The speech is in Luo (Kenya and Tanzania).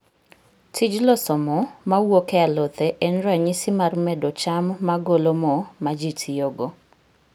Tij loso mo mawuok e alothe en ranyisi mar medo cham magolo mo maji tiyogo.